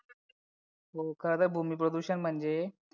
हो का ग भूमी प्रदूषण म्हणजे